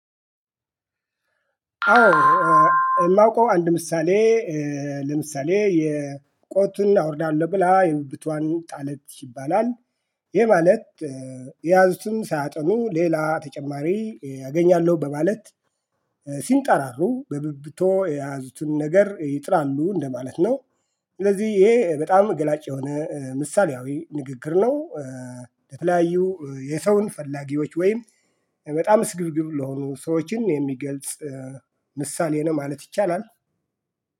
አዎ። የማውቀው አንድ ምሳሌ ለምሳሌ የቆጡን አወርዳለሁ ብላ የብብቷን ጣለች ይባላል። ይሄ ማለት የያዙትን ሳያጠኑ ሌላ ተጨማሪ አገኛለሁ በማለት ሲንጠራሩ በብብቶ የያዙትን ነገር ይጥላሉ እንደማለት ነው። ስለዚህ ይሄ በጣም ገላጭ የሆነ ምሳሌያዊ ንግግር ነው። የተለያዩ የሰውን ፈላጊዎች ወይም በጣም ስግብግብ ለሆኑ ሰዎችን የሚገልጽ ምሳሌ ነው ማለት ይቻላል።